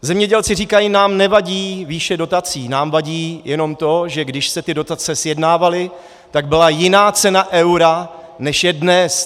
Zemědělci říkají: nám nevadí výše dotací, nám vadí jenom to, že když se ty dotace sjednávaly, tak byla jiná cena eura, než je dnes.